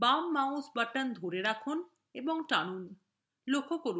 বাম mouse button ধরে রাখুন এবং টানুন